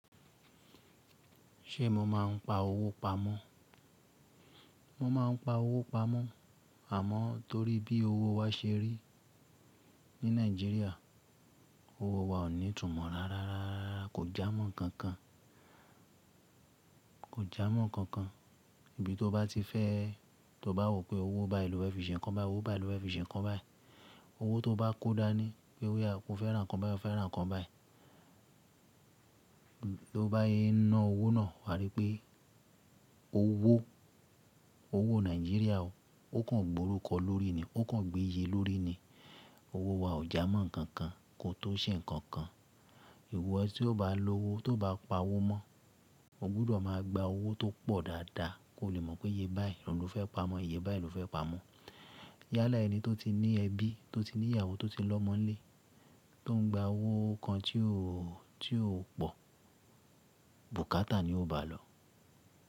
Ṣé mo máa ń pa owó pamọ́? Mo ma ń pa owó pamọ́, àmọ́ torí bí owó wa ṣe rí ní Nàìjíríà, owó wa ò ní tùmọ̀ rárá, kò jámọ̀ ǹkankan. Kò jámọ̀ ǹkankan, ibi tó bá ti fẹ́, tó bá wò pé owó bá lófẹ́ fi ṣẹ̀ innkàn báyìí, owó báyìí lo fẹ́ fi ṣẹ̀ innkàn báyìí, owó tó bá kó dání pé oya o ọ̀fẹ́ rà nǹkan báyìí, o fẹ́ rà nǹkan báyìí, tí o bá yé ná owó náà, wà á rí pé owó, owó Nàìjíríà o, ó kàn gbòórúkọ lórí ni, ó kàn gbéye lórí ni. Owó wa ò jámọ̀ ǹkankan, kò tó ṣé ǹkankan. Ìwọ tí o bá lo owó, tó bá pa owó mọ́, o gbúdọ̀ máa gba owó tó pọ̀ dáadáa, kí o lè mọ̀ pé iye báyìí ni ọ̀ fẹ́ pa mọ́, iye báyìí ni ọ́ fẹ́ pa mọ́. Yálà ẹni tó ti ní ẹbí, tó ti ní ìyàwó, tó ti lọ́mọ lé, tó ń gba owó kan tí ó, tí ó pọ̀, bùkátà ni ó bá lọ.